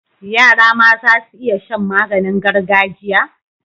Yara ma zasu iya Shan maganin gargajiya